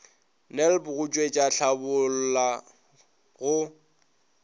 nlb go tšwetša tlhabolla go